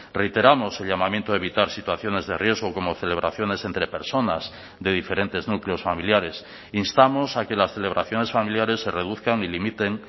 reiteramos el llamamiento a evitar situaciones de riesgo como celebraciones entre personas de diferentes núcleos familiares instamos a que las celebraciones familiares se reduzcan y limiten